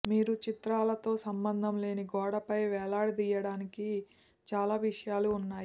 మీరు చిత్రాలతో సంబంధం లేని గోడపై వేలాడదీయడానికి చాలా విషయాలు ఉన్నాయి